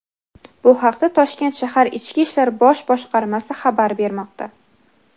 Bu haqda toshkent shahar Ichki ishlar bosh boshqarmasi xabar bermoqda.